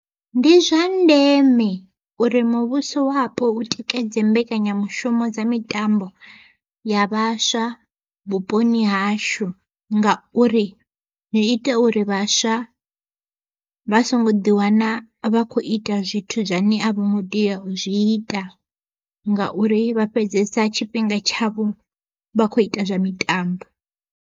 Ndi zwa ndeme uri muvhusowapo u tikedze mbekanyamushumo dza mitambo ya vhaswa vhuponi hashu. Ngauri zwi ita uri vha vhaswa vha songo ḓiwana vha khou ita zwithu zwane avhongo tea u zwi ita, ngauri vha fhedzesa tshifhinga tshavho vha kho ita zwa mitambo.